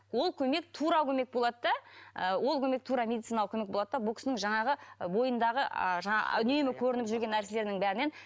ол көмек тура көмек болады да ы ол көмек тура медициналық көмек болады да бұл кісінің жаңағы бойындағы ы жаңа үнемі көрініп жүрген нәрселерінің бәрінен